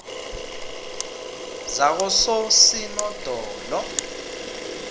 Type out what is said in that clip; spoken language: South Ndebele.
zakososinodolo